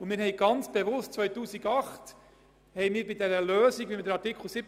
Wir haben dies im Jahr 2008 ganz bewusst offen gelassen, als es um die Umsetzung des Artikels 17 ging.